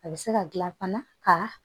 A bɛ se ka gilan fana ka